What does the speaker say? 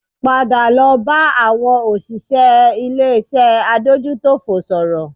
Padà lọ bá àwọn òṣìṣẹ́ ilé-iṣẹ́ adójútòfò sọ̀rọ̀